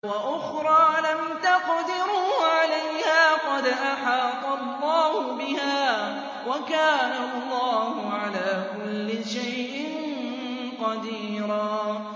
وَأُخْرَىٰ لَمْ تَقْدِرُوا عَلَيْهَا قَدْ أَحَاطَ اللَّهُ بِهَا ۚ وَكَانَ اللَّهُ عَلَىٰ كُلِّ شَيْءٍ قَدِيرًا